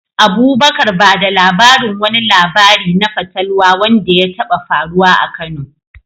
Abubakar, ba da labarin wani labari na fatalwa wanda ya taɓa faruwa a Kano.